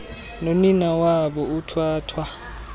nonina wabo uthathwa